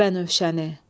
Bənövşəni.